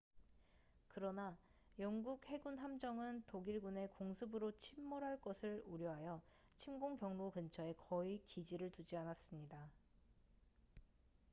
그러나 영국 해군 함정은 독일군의 공습으로 침몰할 것을 우려하여 침공 경로 근처에 거의 기지를 두지 않았습니다